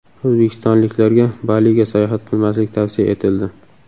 O‘zbekistonliklarga Baliga sayohat qilmaslik tavsiya etildi.